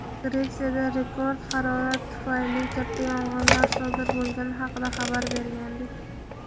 Gretsiyada rekord harorat tufayli katta yong‘inlar sodir bo‘lgani haqida xabar bergandik.